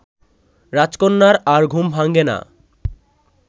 রাজকন্যার আর ঘুম ভাঙ্গে না